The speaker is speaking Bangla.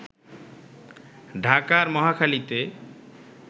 ঢাকার মহাখালীতে